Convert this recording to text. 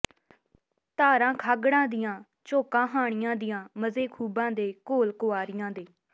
ਧਾਰਾਂ ਖਾਂਗੜਾਂ ਦੀਆਂ ਝੋਕਾਂ ਹਾਣੀਆਂ ਦੀਆਂ ਮਜ਼ੇ ਖੂਬਾਂ ਦੇ ਘੋਲ ਕੁਆਰੀਆਂ ਦੇ